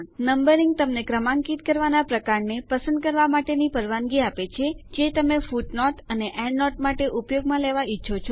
numbering તમને ક્રમાંકીત કરવાના પ્રકારને પસંદ કરવા માટેની પરવાનગી આપે છે જે તમે ફૂટનોટો અને એન્ડનોટો માટે ઉપયોગમાં લેવા ઈચ્છો છો